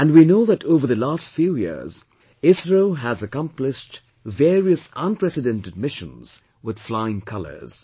And we know that over the last few years, ISRO has accomplished various unprecedented missions with flying colours